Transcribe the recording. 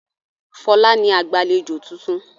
Fọlá ni agbàlejò tuntun.